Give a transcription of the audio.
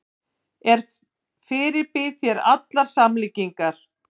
Ég fyrirbýð þér allar samlíkingar.